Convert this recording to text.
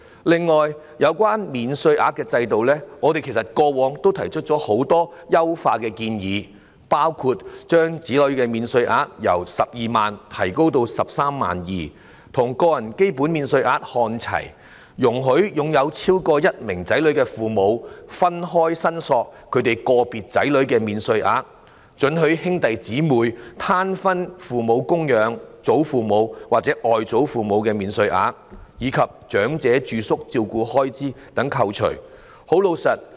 此外，有關免稅額的制度，我們過往曾提出很多優化的建議，包括將子女免稅額由12萬元提高至 132,000 元，與個人基本免稅額看齊；容許有超過一名子女的父母分開申索個別子女的免稅額；准許兄弟姐妹攤分供養父母、祖父母或外祖父母的免稅額，以及長者住宿照顧開支可以扣稅等。